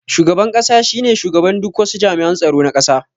Shugaban ƙasa shine shugaban duk wasu jami'an tsaro na ƙasa